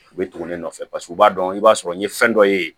U bɛ tugu ne nɔfɛ paseke u b'a dɔn i b'a sɔrɔ n ye fɛn dɔ ye